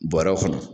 Bɔrɛ kɔnɔ